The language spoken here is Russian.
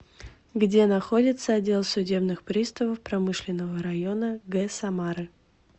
где находится отдел судебных приставов промышленного района г самары